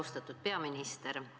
Austatud peaminister!